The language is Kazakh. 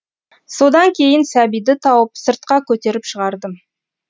содан кейін сәбиді тауып сыртқа көтеріп шығардым